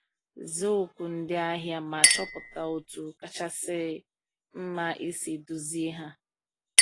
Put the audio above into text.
Zaa oku ndị ahịa ma chọpụta otú kachasị mma isi duzie ha.